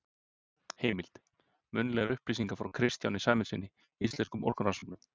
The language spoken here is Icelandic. Heimild: Munnlegar upplýsingar frá Kristjáni Sæmundssyni, Íslenskum orkurannsóknum.